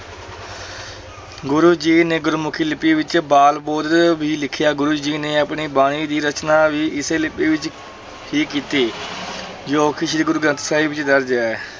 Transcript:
ਗੁਰੂ ਜੀ ਨੇ ਗੁਰਮੁਖੀ ਲਿਪੀ ਵਿੱਚ ਬਾਲਬੋਧ ਵੀ ਲਿਖਿਆ, ਗੁਰੂ ਜੀ ਨੇ ਆਪਣੀ ਬਾਣੀ ਦੀ ਰਚਨਾ ਵੀ ਇਸੇ ਲਿਪੀ ਵਿੱਚ ਹੀ ਕੀਤੀ ਜੋ ਕਿ ਸ੍ਰੀ ਗੁਰੂ ਗ੍ਰੰਥ ਸਾਹਿਬ ਜੀ ਦਰਜ ਹੈ।